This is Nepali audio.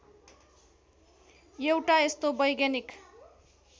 एउटा यस्तो वैज्ञानिक